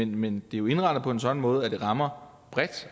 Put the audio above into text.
men det er jo indrettet på en sådan måde at det rammer bredt